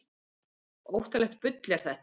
Óttalegt bull er þetta!